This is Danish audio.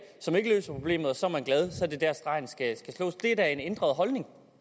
som ikke løser problemet og så er man glad så er det der stregen skal slås det er da en ændret holdning